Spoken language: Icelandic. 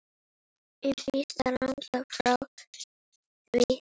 Og býsna langt frá því.